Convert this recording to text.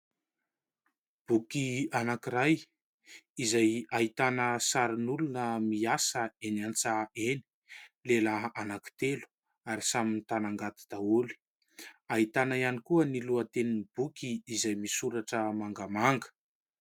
Boky anankiray izay ahitana sarin'olona miasa eny an-tsaha eny : lehilahy anankitelo ary samy mitana angady daholo. Ahitana ihany koa ny lohatenin'ny boky izay misoratra mangamanga.